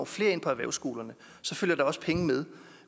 flere ind på erhvervsskolerne følger der også penge med